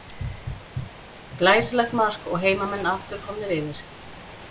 Glæsilegt mark og heimamenn aftur komnir yfir.